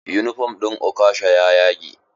Yunifom ɗin okasha ya yage.